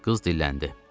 Qız dilləndi.